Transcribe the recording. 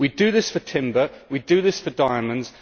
We do this for timber, we do this for diamonds.